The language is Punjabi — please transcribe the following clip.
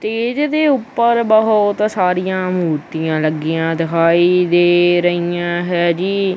ਤੇ ਇਜ਼ਦੇ ਉਪਰ ਬਹੁਤ ਸਾਰਿਆਂ ਮੂਰਤੀਆਂ ਲੱਗੀਆਂ ਦਿਖਾਈ ਦੇ ਰਹੀਆਂ ਹੈ ਜੀ।